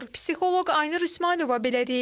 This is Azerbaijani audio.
Psixoloq Aynur İsmayılova belə deyir.